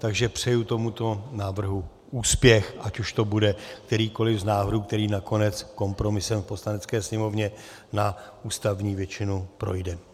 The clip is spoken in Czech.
Takže přeji tomuto návrhu úspěch, ať už to bude kterýkoliv z návrhů, který nakonec kompromisem v Poslanecké sněmovně na ústavní většinu projde.